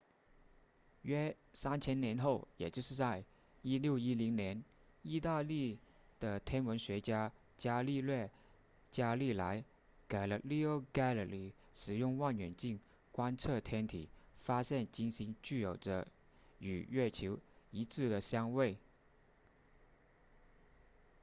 约三千年后也就是在1610年意大利的天文学家伽利略伽利莱 galileo galilei 使用望远镜观测天体发现金星具有着与月球一致的相位